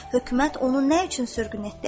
Hökumət onu nə üçün sürgün etdi?